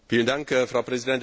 Frau Präsidentin!